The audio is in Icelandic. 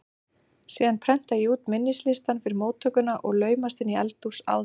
Síðan prenta ég út minnislistann fyrir móttökuna og laumast inn í eldhús áður en